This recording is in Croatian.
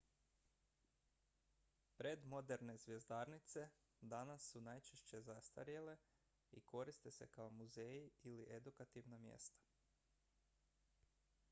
predmoderne zvjezdarnice danas su najčešće zastarjele i koriste se kao muzeji ili edukativna mjesta